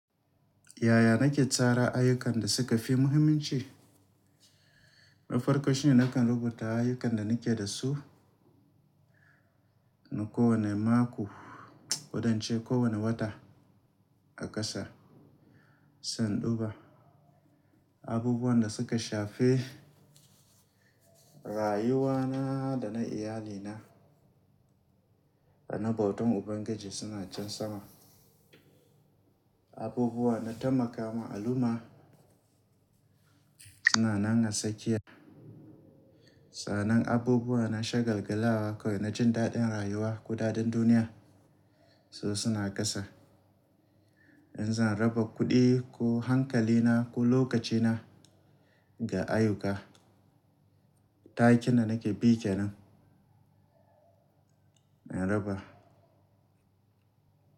Yaya nake tsara ayyukan da suka fi muhimmanci? Na farko shi ne nakan rubuta ayyukan da nake da su na kowane mako, kodance kowane wata a ƙasa, sai induba. Abubuwan da suka shafe rayuwana da na iyalina da na bautan Ubangiji suna can sama. Abubuwa na tai makama al'umma suna nan a tsakiya. Sa'annan abubuwa na shagalgala kawai na jin daɗin rayuwa ko daɗin duniya su suna ƙasa. In za'a raba kuɗi ko hankalina ko lokacina ga ayyuka, matakin da nake bi kenan na raba.